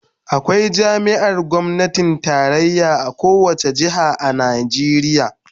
Akwai jami'ar gwamnatin tarayya a kowace jiha a Najeriya